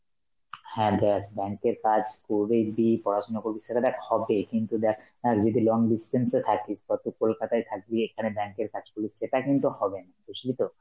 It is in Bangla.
হ্যাঁ দেখ bank এর কাজ করবে কি পড়াশোনা করবি সেটা দেখা হবেই কিন্তু দেখ অ্যাঁ যদি long distance এ থাকিস, ধর তুই কলকাতায় থাকবি, এখানে bank এর কাজ করবি, সেটা কিন্তু হবে না, বুঝলি তো?